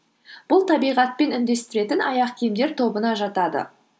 бұл табиғатпен үндестіретін аяқ киімдер тобына жатады